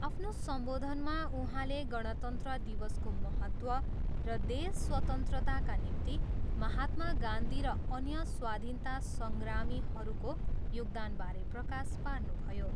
आफ्नो सम्बोधनमा उहाँले गणतन्त्र दिवसको महत्त्व र देश स्वतन्त्रताका निम्ति महात्मा गान्धी र अन्य स्वाधीनता सङ्ग्रामीहरूको योगदानबारे प्रकाश पार्नुभयो।